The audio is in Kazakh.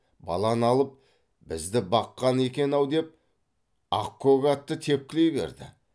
баланы алып бізді баққан екен ау деп ақкөк атты тепкілей берді